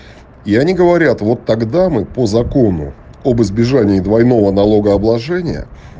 и они говорят вот тогда мы по закону об избежании двойного налогообложения